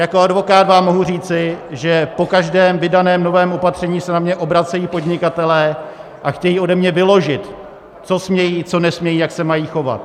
Jako advokát vám mohu říci, že po každém vydaném novém opatření se na mě obracejí podnikatelé a chtějí ode mě vyložit, co smějí, co nesmějí, jak se mají chovat.